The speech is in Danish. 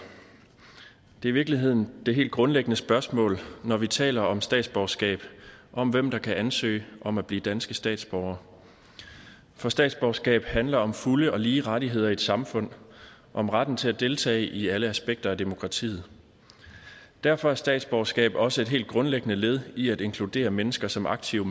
det virkeligheden det helt grundlæggende spørgsmål når vi taler om statsborgerskab om hvem der kan ansøge om at blive danske statsborgere for statsborgerskab handler om fulde og lige rettigheder i et samfund om retten til at deltage i alle aspekter af demokratiet derfor er statsborgerskab også et helt grundlæggende led i at inkludere mennesker som aktive